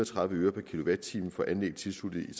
tredive øre per kilowatt time for anlæg tilsluttet i